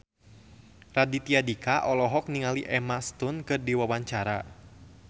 Raditya Dika olohok ningali Emma Stone keur diwawancara